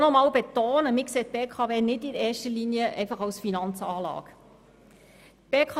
Ich möchte aber betonen, dass wir die BKW nicht in erster Linie als Finanzanlage betrachten.